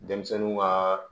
Denmisɛnninw ka